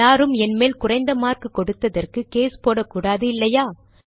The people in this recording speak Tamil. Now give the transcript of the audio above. யாரும் என் மேல் குறைந்த மார்க் கொடுத்ததற்கு கேஸ் போடக்கூடாது இல்லையா